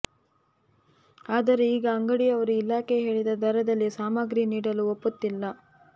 ಆದರೆ ಈಗ ಅಂಗಡಿಯವರು ಇಲಾಖೆ ಹೇಳಿದ ದರದಲ್ಲಿ ಸಾಮಾಗ್ರಿ ನೀಡಲು ಒಪ್ಪುತ್ತಿಲ್ಲ